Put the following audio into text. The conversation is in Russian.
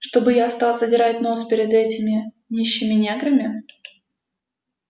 чтобы я стал задирать нос перед этими нищими неграми